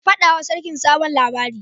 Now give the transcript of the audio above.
Ka faɗa wa sarkin sabon labari